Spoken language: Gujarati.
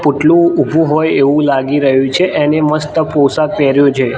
પુટલુ ઉભુ હોય એવુ લાગી રહ્યુ છે એને મસ્ત પોશાક પહેર્યો છે.